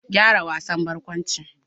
Gyara wasan barkwanci.